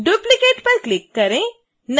duplicate पर click करें